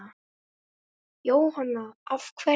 Jóhanna: Af hverju?